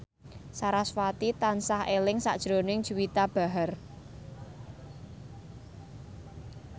sarasvati tansah eling sakjroning Juwita Bahar